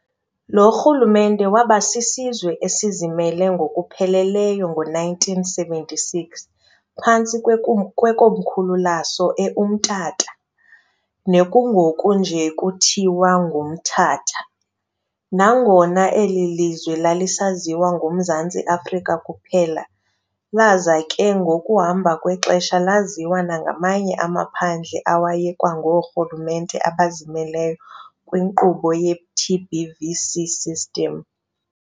Lo rhulumente wabasisizwe esizimele ngokupheleleyo ngo-1976 phantsi kwekomkhulu laso eUmtata, nekungoku nje kuthiwa ngumThatha, nangona eli lizwe lalisaziwa ngumZantnsi Afrika kuphela laza ke ngokuhamba kwexesha laziwa nangamanye amaphandle awayekwangoorhulumente abazimeleyo kwinkqubo ye-TBVC-system.